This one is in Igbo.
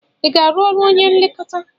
Ị ga-arụ ọrụ onye nlekọta?